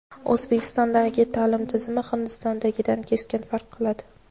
O‘zbekistondagi ta’lim tizimi Hindistondagidan keskin farq qiladi.